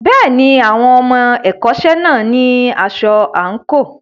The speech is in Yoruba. Bẹ́ẹ̀ni, àwọn ọmọ ẹ̀kọ́ṣẹ́ náà ní aṣọ àǹkóò.